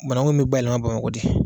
Banaku in bɛ bayɛlɛma BAMAKƆ de.